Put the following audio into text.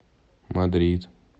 мадрид